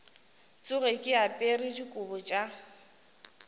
tsoge ke apere dikobo tša